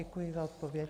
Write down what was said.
Děkuji za odpověď.